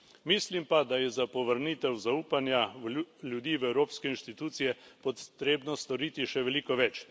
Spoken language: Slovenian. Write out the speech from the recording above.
Mislim pa, da je za povrnitev zaupanja ljudi v evropske inštitucije potrebno storiti še veliko več.